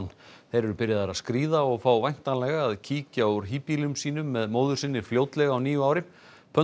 þeir eru byrjaðir að skríða og fá væntanlega að kíkja úr híbýlum sínum með móður sinni fljótlega á nýju ári